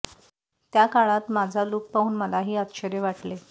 त्या काळात माझा लुक पाहून मलाही आश्चर्य वाटले